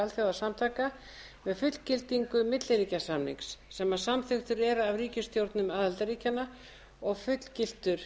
alþjóðasamtaka með fullgildingu milliríkjasamnings sem samþykktur er af ríkisstjórnum aðildarríkjanna og fullgiltur